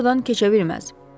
O burdan keçə bilməz.